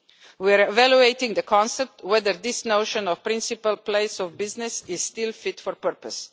We are evaluating the concept of whether this notion of principal place of business is still fit for purpose.